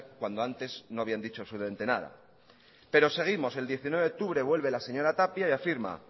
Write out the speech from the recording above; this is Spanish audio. cuando antes no habían dicho absolutamente nada pero seguimos el diecinueve de octubre vuelve la señora tapia y afirma